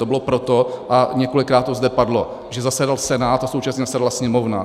To bylo proto, a několikrát to zde padlo, že zasedal Senát a současně zasedala Sněmovna.